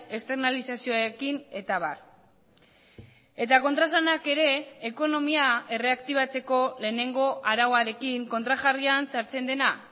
externalizazioekin eta abar eta kontraesanak ere ekonomia erreaktibatzeko lehenengo arauarekin kontrajarrian sartzen dena